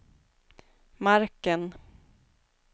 marken